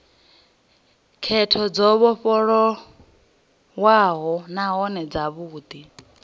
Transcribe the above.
khetho dzo vhofholowaho nahone dzavhudi